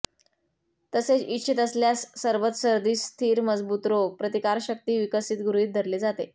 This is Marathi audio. तसेच इच्छित असल्यास सरबत सर्दी स्थिर मजबूत रोग प्रतिकारशक्ती विकसित गृहीत धरले जाते